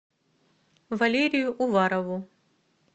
валерию уварову